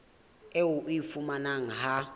eo o e fumanang ha